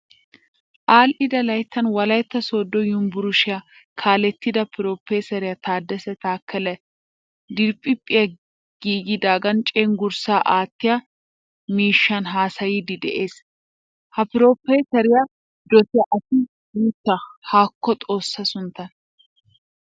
Adhdhida layttan wolaytta sodo yunvurshshiyaa kaalettida piropeseriyaa tadassa takele diriphphay giigidagan cenggurssaa aattiyaa miishshan haasayiidi de'ees. Ha piropeseriyaa dosiya asi guta. Hako xoossaa sunttan!